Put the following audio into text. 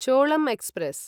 Cholan express